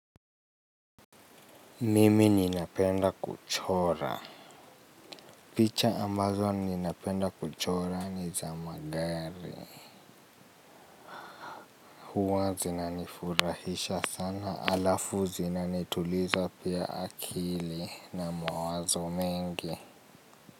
Mimi ninapenda kuchora. Picha ambazo ninapenda kuchora ni zamagari. Huwa zinanifurahisha sana alafu zinanituliza pia akili na mawazo mengi.